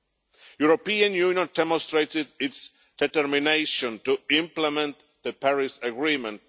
The European Union has demonstrated its determination to implement the Paris Agreement.